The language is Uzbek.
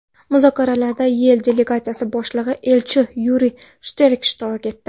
Muzokaralarda YeI Delegatsiyasi boshlig‘i, elchi Yuriy Shterk ishtirok etdi.